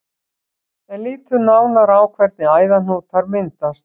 En lítum nánar á hvernig æðahnútar myndast.